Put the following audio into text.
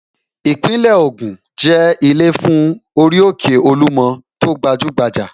Ìpínlẹ̀ Ògùn náà jẹ́ ilé fún orí òkè Olúmọ tó gbajúgbajà